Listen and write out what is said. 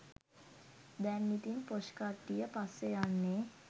දැන් ඉතින් පොෂ් කට්ටිය පස්සේ යන්නේ.